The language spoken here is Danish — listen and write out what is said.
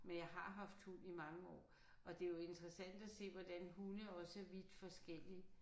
Men jeg har haft hund i mange år og det jo interessant at se hvordan hunde også er vidt forskellige